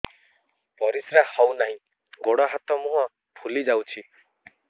ପରିସ୍ରା ହଉ ନାହିଁ ଗୋଡ଼ ହାତ ମୁହଁ ଫୁଲି ଯାଉଛି